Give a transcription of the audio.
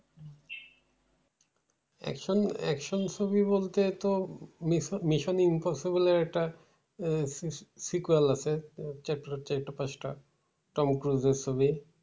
Action action movie বলতে তো মিশ~ মিশন ইমপসিবল বলে একটা sequel আছে, chapter চাইরটা পাঁচটা টম ক্রুজের ছবি।